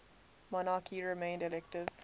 monarchy remained elective